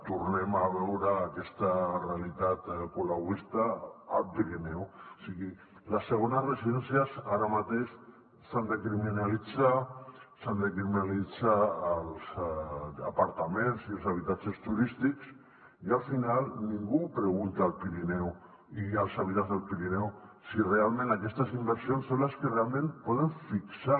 tornem a veure aquesta realitat colauista al pirineu o sigui les segones residències ara mateix s’han de criminalitzar s’han de criminalitzar els apartaments i els habitatges turístics i al final ningú pregunta al pirineu i als habitants del pirineu si realment aquestes inversions són les que realment poden fixar